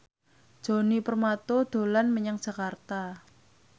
Djoni Permato dolan menyang Jakarta